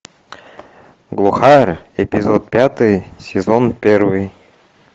глухарь эпизод пятый сезон первый